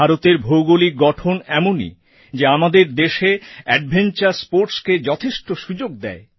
ভারতের ভৌগোলিক গঠন এমনই যে আমাদের দেশে অ্যাডভেঞ্চার স্পোর্টসকে যথেষ্ট সুযোগ দেয়